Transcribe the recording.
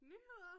Nyheder